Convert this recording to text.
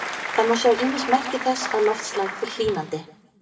Það má sjá ýmis merki þess að loftslag fer hlýnandi.